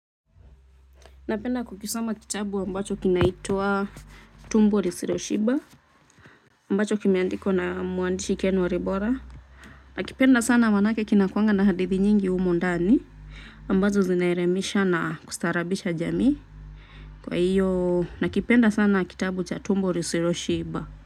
Napenda kukisoma kitabu ambacho kinaitwa tumbo lisiloshiba ambacho kimeandikwa na mwandishi ken wa libora. Nakipenda sana maanake kinakuanga na hadithi nyingi humu ndani ambazo zinaelimisha na kustaarabisha jamii kwa hiyo nakipenda sana kitabu cha tumbo lisiloshiba.